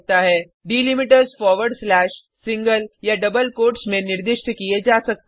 delimiters forward slash single या double quotes में निर्दिष्ट किये जा सकते हैं